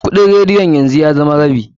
Kuɗin radiyon yanzu ya zama rabi.